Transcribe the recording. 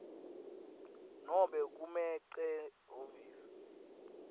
nobe kumec ehhovisi